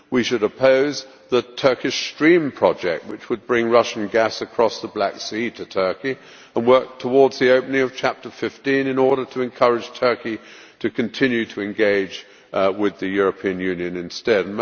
We should oppose the Turkish Stream project, which would bring Russian gas across the Black Sea to Turkey, and work towards the opening of Chapter 15 in order to encourage Turkey to continue to engage with the European Union instead.